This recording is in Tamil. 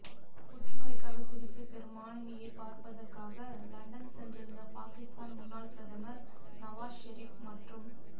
புற்றுநோய்க்காக சிகிச்சை பெறும் மனைவியை பார்ப்பதற்காக லண்டன் சென்றிருந்த பாகிஸ்தான் முன்னாள் பிரதமர் நவாஸ் ஷெரிப் மற்றும்